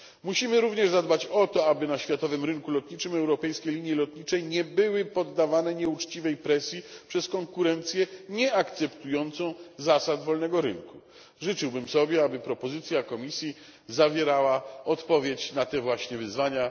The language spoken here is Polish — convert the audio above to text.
Musimy również zadbać o to, aby na światowym rynku lotniczym europejskie linie lotnicze nie były poddawane nieuczciwej presji przez konkurencję nieakceptującą zasad wolnego rynku. Życzyłbym sobie, by propozycja Komisji zawierała odpowiedź na te właśnie wyzwania.